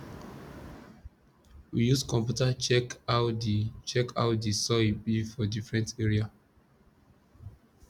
we use computer check how the check how the soil be for different area